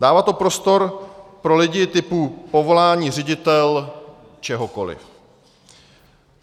Dává to prostor pro lidi typu povolání ředitel čehokoli.